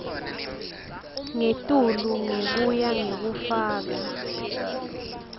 ngetulu ngekuya ngekufaka